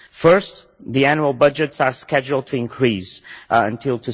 First, the annual budgets are scheduled to increase until